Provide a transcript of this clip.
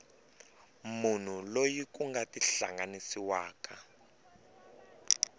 munhu loyi ku nga tihlanganisiwaka